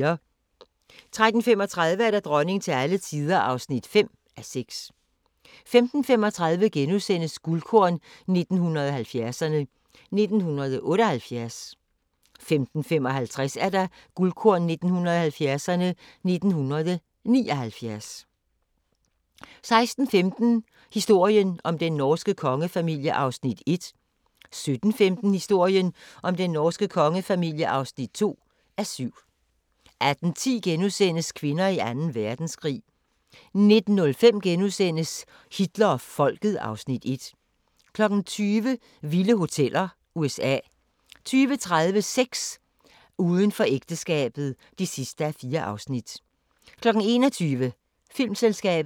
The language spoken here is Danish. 13:35: Dronning til alle tider (5:6) 15:35: Guldkorn 1970'erne: 1978 * 15:55: Guldkorn 1970'erne: 1979 16:15: Historien om den norske kongefamilie (1:7) 17:15: Historien om den norske kongefamilie (2:7) 18:10: Kvinder i Anden Verdenskrig * 19:05: Hitler og Folket (Afs. 1)* 20:00: Vilde hoteller: USA 20:30: Sex: Uden for ægteskabet (4:4) 21:00: Filmselskabet